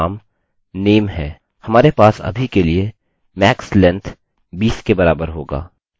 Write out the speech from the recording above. हमारे पास अभी के लिए max length 20 के बराबर होगा